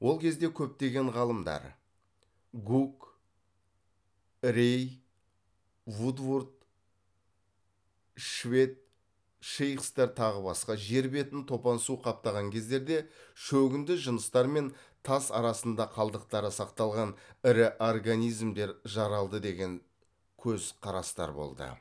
ол кезде көптеген ғалымдар гук рей вудворд швед шейхцер тағы басқа жер бетін топан су қаптаған кездерде шөгінді жыныстар мен тас арасында қалдықтары сақталған ірі организмдер жаралды деген көзқарастар болды